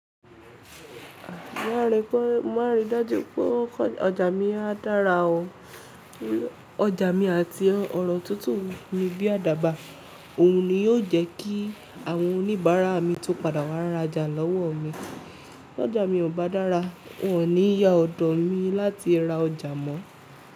Má rí dájú péwọ́n pé ọjà mi á dára o. Ọjà mi àti ọ̀rọ̀ tutu ni bí adàbá, òhun ni yóò jẹ́ kí àwọn oníbàárà mi tún padà wá rajà lọ́wọ́ mi. Tọ́jà mi ò bá dára, wọn ò ní yá ọ̀dọ̀ mi láti ra ọjà mọ́.